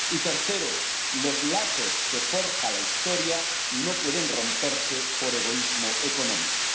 y, tercero, los lazos que forja la historia no pueden romperse por egoísmo económico.